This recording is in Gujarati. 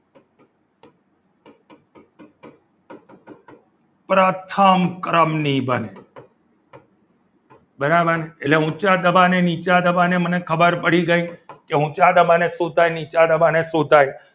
પ્રથમ ક્રમની બને બરાબર એટલે ઊંચા દબાણે નીચા દબાણે મને ખબર પડી ગઈ કે ઊંચા દબાણે શું થાય નીચા દબાણે શું થાય.